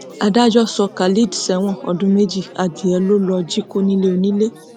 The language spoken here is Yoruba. adájọ sọ khalid sẹwọn ọdún méjì adìyẹ ló lọọ jí kó nílé onílé